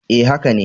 E, haka ne.